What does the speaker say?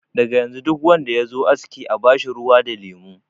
Daga yanzu duk wanda yazo aski a bashi ruwa da lemo.